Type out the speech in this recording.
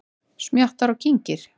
Smjattar og kyngir.